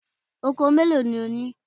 Oko mélòó ni ó ní?